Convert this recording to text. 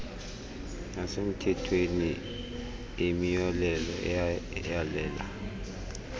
yasemthethweni eyimiyolelo eyalela